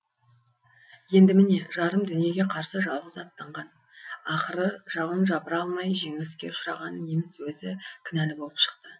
енді міне жарым дүниеге қарсы жалғыз аттанған ақыры жауын жапыра алмай жеңіліске ұшыраған неміс өзі кінәлі болып шықты